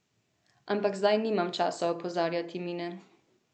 Ampak zdaj nimam časa opozarjat Mine.